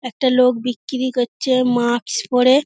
একটা লোক বিক্রি করছে মাস্ক পড়ে |